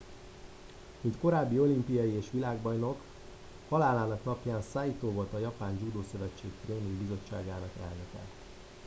mint korábbi olimpiai és világbajnok halálának napján saito volt a japán judo szövetség tréning bizottságának elnöke